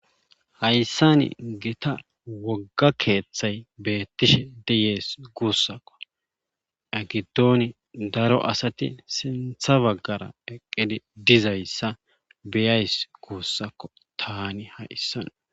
Hayssani gita wogga keeththay beettishe diyees guussakko egidooni daro asati sintha baggara eqqidi dizayssa beyays guussakko tani ha7issan